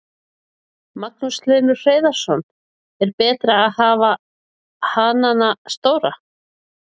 Magnús Hlynur Hreiðarsson: Er betra að hafa hanana stóra?